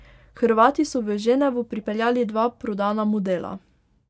Hrvati so v Ženevo pripeljali dva prodana modela.